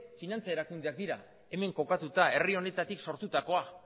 finantza erakundeak dira hemen kokatuta herri honetatik sortutakoak